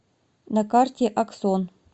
на карте аксон